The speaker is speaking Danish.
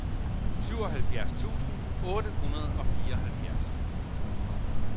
syvoghalvfjerds tusind otte hundrede og fireoghalvfjerds